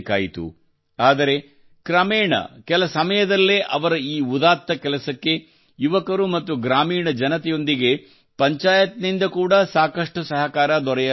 ಆದರೆ ಕ್ರಮೇಣ ಕೆಲಸಮಯದಲ್ಲೇ ಅವರ ಈ ಉದಾತ್ತ ಕೆಲಸಕ್ಕೆ ಯುವಕರು ಮತ್ತು ಗ್ರಾಮೀಣ ಜನತೆಯೊಂದಿಗೆ ಪಂಚಾಯಿತ್ ನಿಂದ ಕೂಡಾ ಸಾಕಷ್ಟು ಸಹಕಾರ ದೊರೆಯಲಾರಂಭಿಸಿತು